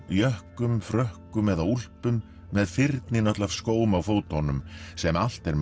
jökkum frökkum eða úlpum með fyrnin öll af skóm á fótunum sem allt er